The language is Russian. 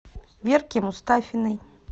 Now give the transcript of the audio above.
верке мустафиной